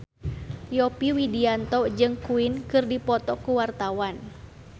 Yovie Widianto jeung Queen keur dipoto ku wartawan